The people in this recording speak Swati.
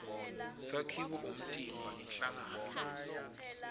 sakhiwo umtimba inhlangano